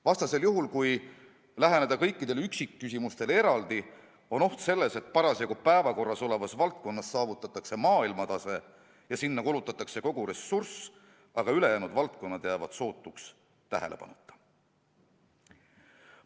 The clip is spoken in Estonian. Vastasel juhul, kui läheneda kõikidele üksikküsimustele eraldi, on oht selles, et parasjagu päevakorral olevas valdkonnas saavutatakse maailmatase ja sinna kulutatakse kogu ressurss, aga ülejäänud valdkonnad jäävad sootuks tähelepanuta.